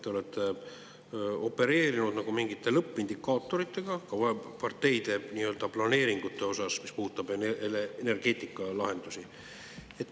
Te olete opereerinud mingite lõppindikaatoritega ka parteide planeeringute osas, mis puudutab energeetikalahendusi.